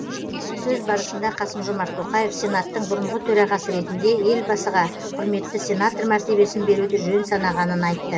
сөз барысында қасым жомарт тоқаев сенаттың бұрынғы төрағасы ретінде елбасыға құрметті сенатор мәртебесін беруді жөн санағанын айтты